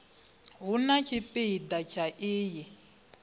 hu na tshipida tsha iyi